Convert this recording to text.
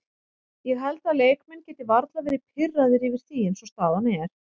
Ég held að leikmenn geti varla verði pirraðir yfir því eins og staðan er.